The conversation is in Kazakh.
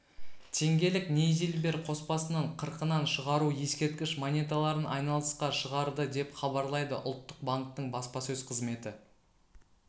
теңгелік нейзильбер қоспасынан қырқынан шығару ескерткіш монеталарын айналысқа шығарды деп хабарлайды ұлттық банктің баспасөз қызметі